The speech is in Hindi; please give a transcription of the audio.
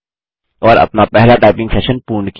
और अपना पहला टाइपिंग सेशन पूर्ण किया